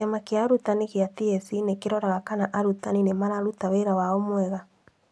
Kíama gía arutani gĩa TSC nĩkĩroraga kana arutani nĩ mararuta wĩra wao wega